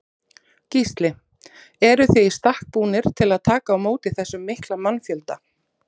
Gísli: Eruð þið í stakk búnir til að taka á móti þessum mikla mannfjölda?